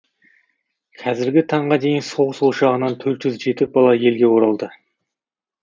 қазіргі таңға дейін соғыс ошағынан төрт жүз жеті бала елге оралды